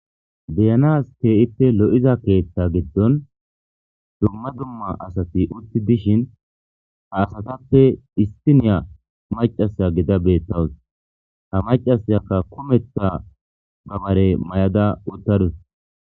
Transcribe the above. deyanas tee7ippe lo7iza keeththa giddon dumma dumma asati utti dishin ha asatappe istiniya macasa gida beettawus ha macasyakka kumeta gabare may7ada uttarus